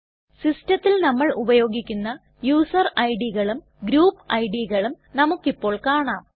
സിസ്റ്റത്തിൽ നമ്മൾ ഉപയോഗിക്കുന്ന യൂസർ IDകളും ഗ്രൂപ്പ് IDകളും നമുക്കിപ്പോൾ കാണാം